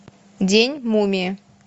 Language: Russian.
день мумии